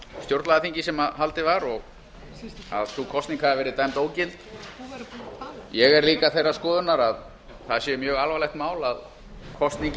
stjórnlagaþingið sem haldið var að sú kosning hafi verið dæmd ógild ég er líka þeirrar skoðunar að það sé mjög alvarlegt mál að kosning í